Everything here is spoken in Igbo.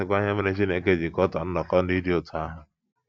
Ka a sịkwa ihe mere Chineke ji kọtọọ nnọkọ ndị dị otú ahụ.